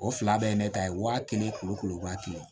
O fila bɛɛ ye ne ta ye wa kelen kulo waa kɛmɛ